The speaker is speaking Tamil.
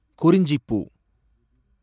குறிஞ்சிப்பூ